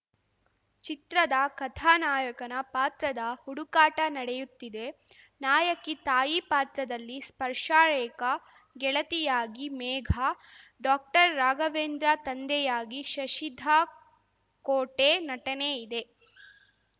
ಚಿತ್ರದ ಕಥಾನಾಯಕನ ಪಾತ್ರದ ಹುಡುಕಾಟ ನಡೆಯುತ್ತಿದೆ ನಾಯಕಿ ತಾಯಿ ಪಾತ್ರದಲ್ಲಿ ಸ್ಪರ್ಶಾರೇಖಾ ಗೆಳತಿಯಾಗಿ ಮೇಘ ಡಾಕ್ಟರ್ರಾಘವೇಂದ್ರ ತಂದೆಯಾಗಿ ಶಶಿಧಕೋಟೆ ನಟನೆ ಇದೆ